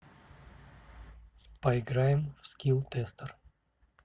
поиграем в скилл тестер